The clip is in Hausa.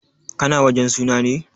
Ka na wajen suna ne?